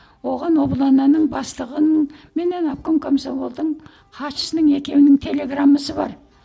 оған облоно ның бастығының менен обком комсомолдың хатшысының екеуінің телеграммасы бар